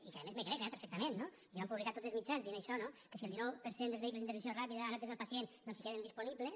i que a més m’ho crec perfectament no i que ho van publicar tots els mitjans dient això no que si el dinou per cent dels vehicles d’intervenció ràpida han atès el pacient doncs queden disponibles